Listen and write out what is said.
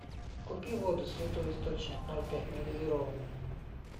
купи воду святой источник ноль пять негазированную